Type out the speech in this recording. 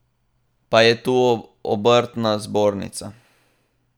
Pa je tu obrtna zbornica.